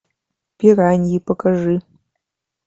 пираньи покажи